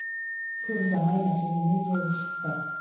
көп ұзамай мәселе мүлде ушықты